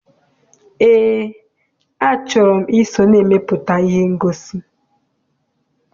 Eé, a chọrọ m I so na-emepụta ihe ngosi.